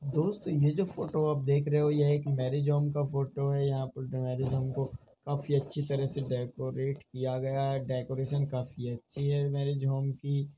दोस्त ये जो फोटो आप देख रहे हो यह एक मैरेज होम की फोटो है |यहाँ पर मैरेज होम को काफी अच्छे से डेकोरेट किया गया है | डेकोरेशन काफी अच्छी है मैरिज होम की।